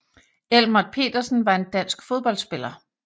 Elmert Petersen var en dansk fodboldspiller